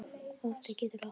Kvóti getur átt við